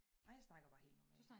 Nej jeg snakker bare helt normalt